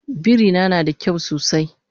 Birina nada kyau sosai